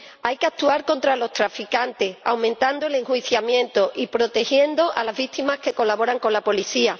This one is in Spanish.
Hay que actuar contra los traficantes, aumentando el enjuiciamiento y protegiendo a las víctimas que colaboran con la policía.